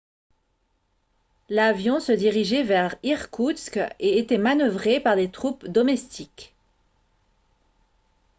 l'avion se dirigeait vers irkoutsk et était manœuvré par des troupes domestiques